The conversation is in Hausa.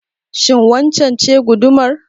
Shin wannan ce gudumar?